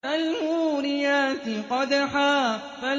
فَالْمُورِيَاتِ قَدْحًا